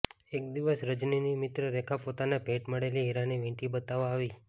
એક દિવસ રજનીની મિત્ર રેખા પોતાને ભેટ મળેલી હીરાની વીંટી બતાવવા આવી